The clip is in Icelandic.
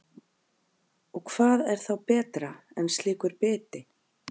Og hvað er þá betra en slíkur biti?